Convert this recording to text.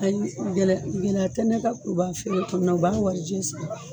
Ani gɛlɛ, ɛlɛya tɛnɛkan kun b'a fe yen u b'a warijɛ sigi.